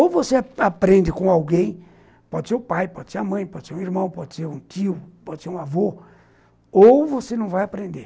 Ou você aprende com alguém, pode ser o pai, pode ser a mãe, pode ser um irmão, pode ser um tio, pode ser um avô, ou você não vai aprender.